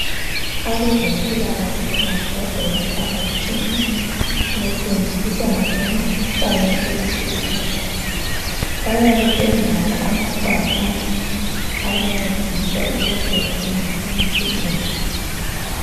Abazempilakahle babhoda emphakathini befundisa ngokwe mkhuhlane etshiyeneyo bayabe belawo ama bhakane abancedisa ukuthi bafundise izigulane